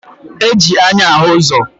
E ji anya ahụ ụzọ